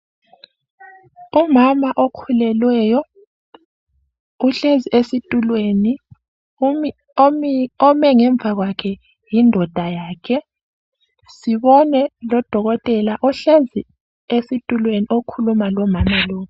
Umama ozithweleyo uhlezi esitulweni ome ngemva kwakhe ngumkakhe sibone lodokotela ohlezi esitulweni okhuluma lomama lo.